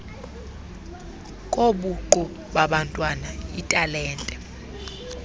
kobuqu babantwana iitalente